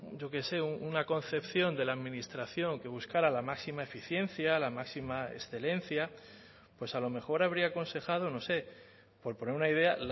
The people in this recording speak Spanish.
yo qué sé una concepción de la administración que buscara la máxima eficiencia la máxima excelencia pues a lo mejor habría aconsejado no sé por poner una idea